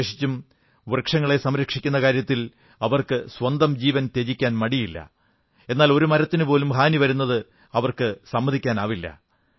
വിശേഷിച്ചും വൃക്ഷങ്ങളെ സംരക്ഷിക്കുന്ന കാര്യത്തിൽ അവർക്ക് സ്വന്തം ജീവൻ ത്യജിക്കാൻ മടിയില്ല എന്നാൽ ഒരു മരത്തിനുപോലും ഹാനി വരുന്നത് അവർ സമ്മതിക്കില്ല